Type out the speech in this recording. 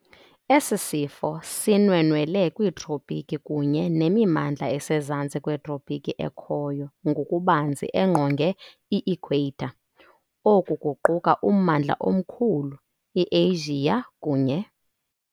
Esi sifo sinwenwele kwiiTropiki kunye nemimandla esezantsi kwetropiki ekhoyo ngokubanzi engqonge i-ikhweyitha. Oku kuquka ummandla omkhulu ], iAsia, kunye ].